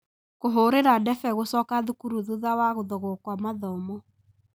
Kũhũrĩra ndebe gũcoka thukuru thutha wa gũthogwo kwa mathomo